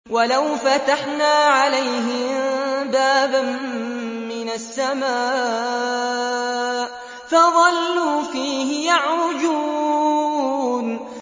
وَلَوْ فَتَحْنَا عَلَيْهِم بَابًا مِّنَ السَّمَاءِ فَظَلُّوا فِيهِ يَعْرُجُونَ